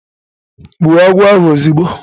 Gbuo agwo ahu ozugbo